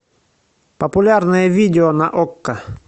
популярное видео на окко